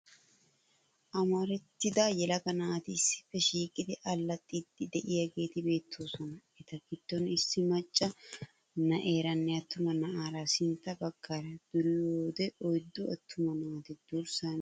Amarattida yelaga naati issippe shiiqidi allaxxiiddi de'iyageeti beettoosona. Eta giddon issi macca nayeeranne attuma na'aara sintta baggaara duriyoode oyddu attuma naati durissaa miishshaa kaa'iiddi beettoosona.